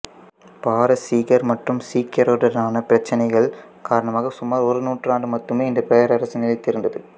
பாரசீகர் மற்றும் சீக்கியருடனான பிரைச்சனைகள் காரணமாக சுமார் ஒரு நூற்றாண்டு மட்டுமே இந்த பேரரசு நிலைத்து இருந்தது